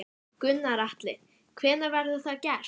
Gunnar Atli: Hvenær verður það gert?